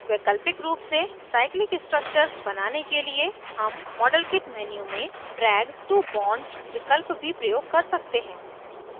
वैकल्पिक रूप से cyclic structures बनाने के लिए हम modelkit menu में drag to bond विकल्प भी प्रयोग कर सकते हैं